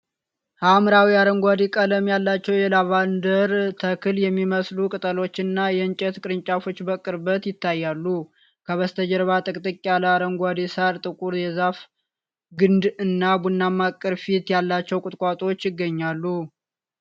ሐመር አረንጓዴ ቀለም ያላቸው የላቫንደር ተክል የሚመስሉ ቅጠሎችና የእንጨት ቅርንጫፎች በቅርበት ይታያሉ። ከበስተጀርባ ጥቅጥቅ ያለ አረንጓዴ ሣር፣ ጥቁር የዛፍ ግንድ እና ቡናማ ቅርፊት ያላቸው ቁጥቋጦዎች ይገኛሉ።